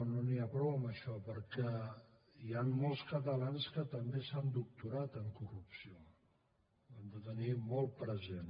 no n’hi ha prou amb això perquè hi han molts catalans que també s’han doctorat en corrupció ho hem de tenir molt present